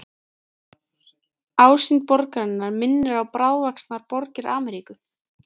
Ásýnd borgarinnar minnir á bráðvaxnar borgir Ameríku.